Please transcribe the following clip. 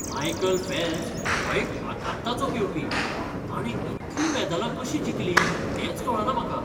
Michael Phelps हो एक आकांताचो पेंवपी. ताणें इतलीं मेदालां कशीं जिखलीं तेंच कळना म्हाका!